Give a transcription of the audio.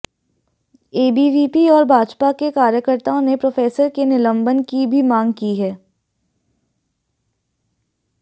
ABVP और भाजपा के कार्यकर्ताओं ने प्रोफेसर के निलंबन की भी मांग की है